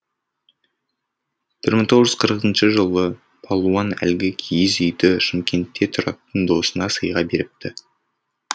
бір мың тоғыз жүз қырқыншы жылы палуан әлгі киіз үйді шымкентте тұратын досына сыйға беріпті